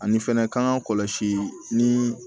Ani fɛnɛ kan ka kɔlɔsi ni